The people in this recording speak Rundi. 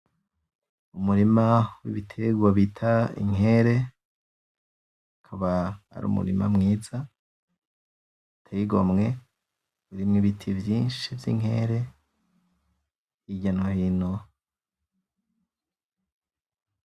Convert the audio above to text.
Umurima w'Ibiterwa bita Inkere, ukaba ari Umurima mwiza uteye igomwe, n'Ibiti vyinshi vy'Inkere hirya no hino.